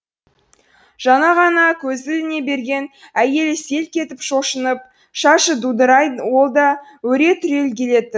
жаңа ғана көзі іліне берген әйелі селк етіп шошынып шашы дудырай ол да өре түрегелетін